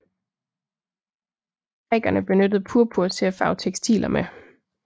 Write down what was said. Grækerne benyttede purpur til at farve tekstiler med